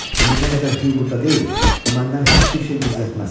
İndi nə qədər Huq burda deyil, o məndən heç bir şey gizlətməz.